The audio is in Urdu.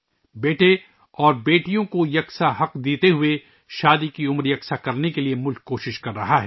بیٹے اور بیٹیوں کو مساوی حقوق دیتے ہوئے شادی کی عمر کو برابر کرنے کی ملک کوشش کر رہا ہے